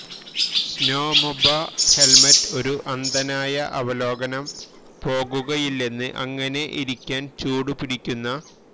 സ്നോമൊബ helmet ഒരു അന്ധനായ അവലോകനം പോകുകയില്ലെന്ന് അങ്ങനെ ഇരിക്കാൻ ചൂടുപിടിപ്പിക്കുന്ന